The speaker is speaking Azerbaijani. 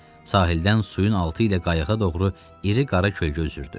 Sahildən suyun altı ilə qayıqa doğru iri qara kölgə üzürdü.